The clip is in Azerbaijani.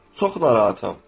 Çox narahatam.